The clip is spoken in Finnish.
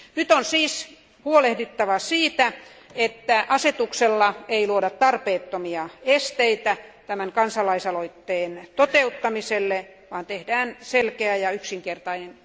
On huolehdittava siitä, että asetuksella ei luoda tarpeettomia esteitä kansalaisaloitteen toteuttamiselle vaan että siitä tehdään selkeä ja yksinkertainen.